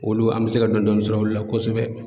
Olu an bɛ se ka dɔni dɔni sɔrɔ olu la kosɛbɛ.